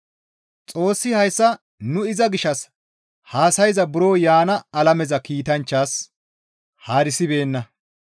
Xoossi hayssa nu iza gishshas haasayza buro yaana alameza kiitanchchas haarisibeenna.